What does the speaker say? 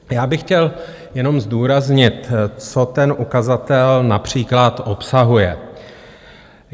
Já bych chtěl jenom zdůraznit, co ten ukazatel například obsahuje.